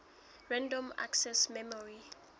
random access memory